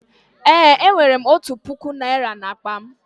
Eé, enwere m otu puku naịra n'akpa m.